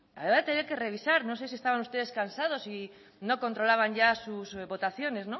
ahora voy a tener que revisar no sé si estaban ustedes cansados y no controlaban ya sus votaciones